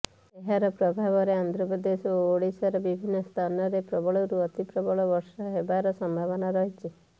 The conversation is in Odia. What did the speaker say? ଏହାର ପ୍ରଭାବରେ ଆନ୍ଧ୍ରପ୍ରଦେଶ ଓ ଓଡ଼ିଶାର ବିଭିନ୍ନ ସ୍ଥାନରେ ପ୍ରବଳରୁ ଅତି ପ୍ରବଳ ବର୍ଷା ହେବାର ସମ୍ଭାବନା ରହିଛି